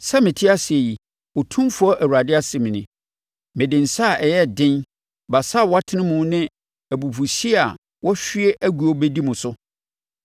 Sɛ mete ase yi, Otumfoɔ Awurade asɛm nie, mede nsa a ɛyɛ den, basa a wɔatene mu ne abufuhyeɛ a wɔahwie agu bɛdi mo so.